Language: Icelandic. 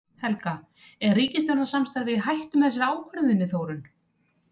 Helga: Er ríkisstjórnarsamstarfið í hættu með þessari ákvörðun þinni Þórunn?